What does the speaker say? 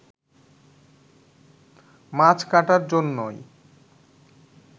মাছ কাটার জন্যই